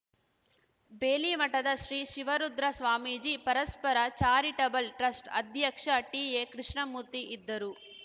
ಬೇಲಿಮಠದ ಶ್ರೀ ಶಿವರುದ್ರ ಸ್ವಾಮೀಜಿ ಪರಸ್ಪರ charitable trust ಅಧ್ಯಕ್ಷ ಟಿಎಕೃಷ್ಣಮೂರ್ತಿ ಇದ್ದರು